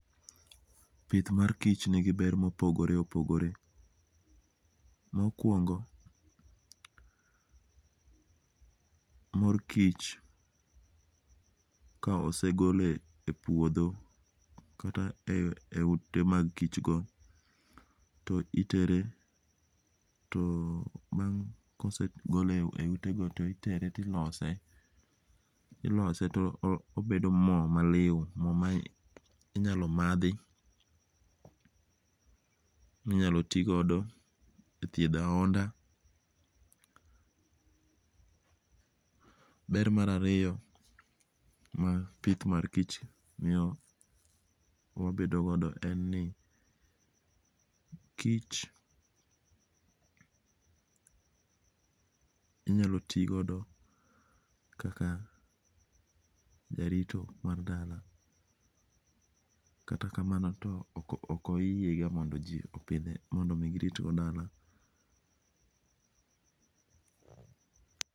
Pith mar kich nigi ber mopogore opogore, mokuongo morkich ka osegole e puotho kata e ute mag kichgo to itere bang' ka osegole e utego to itere to ilose, ilose to obedo mo maliu mo minyalo mathi, minyalo ti godo e thietho ahonda. Ber mar ariyo mar pith mar kich miyo yabedogodo en ni kich inyalo ti godo kaka jarito mar dala katakamano to okyiega mondo ji opithe mondo oritgodo dala.